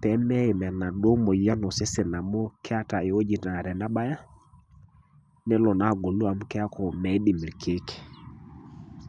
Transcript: pee meeyim enaduo moyian osesen amu keeta ewoji naa tenebaya, nelo naa agolu amu keeku miidim irkiek.